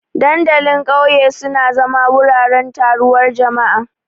Dandalin ƙauye suna zama wuraren taruwar jama'a.